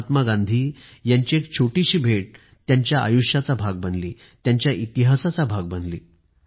महात्मा गांधी यांची एक छोटीशी भेट त्यांच्या आयुष्याचा भाग बनली त्यांच्या इतिहासाचा भाग बनली